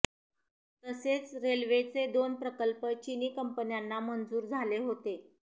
तसेच रेल्वेचे दोन प्रकल्प चीनी कंपन्यांना मंजूर झाले होते